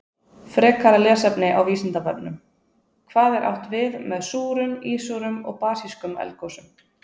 Frekara lesefni á Vísindavefnum: Hvað er átt við með súrum, ísúrum og basískum eldgosum?